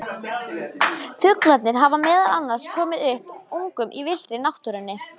Fuglarnir hafa meðal annars komið upp ungum í villtri náttúrunni.